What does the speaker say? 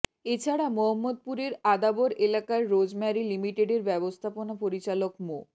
এছাড়া মোহাম্মদপুরের আদাবর এলাকার রোজম্যারি লিমিটেডের ব্যবস্থাপনা পরিচালক মো